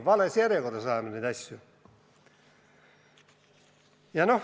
Vales järjekorras ajame neid asju.